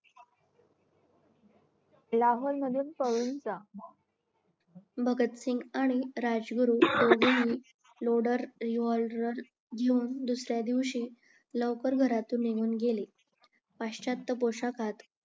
लाहोर मधून पळून जा भगत सिंघ आणि राजगुरू दोघेही लोडेड रिव्हॉल्वर घेवून दुसर्यादिवशी लवकर घरातून निघून गेले पश्च्यात्या पोशाखात